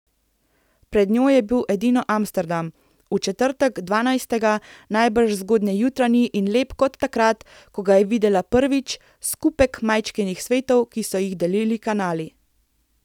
Pred njo je bil edino Amsterdam, v četrtek, dvanajstega, najbrž zgodnjejutranji in lep kot takrat, ko ga je videla prvič, skupek majčkenih svetov, ki so jih delili kanali.